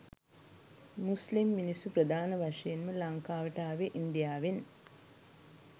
මුස්ලිම් මිනිස්සු ප්‍රධාන වශයෙන් ම ලංකාවට ආවේ ඉන්දියාවෙන්